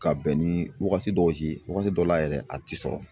Ka bɛn ni wagati dɔw ye wagati dɔw la yɛrɛ a ti sɔrɔ.